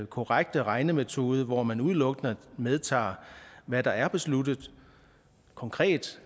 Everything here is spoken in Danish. korrekte regnemetode og hvor man udelukkende medtager hvad der er besluttet konkret